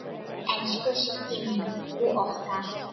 Elsku Siggi minn og okkar.